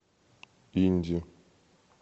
инди